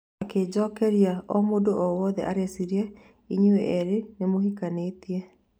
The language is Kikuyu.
Akĩnjokeria "omũndũ o wothe areciria inyuĩ erĩ nĩmũhikanĩtie"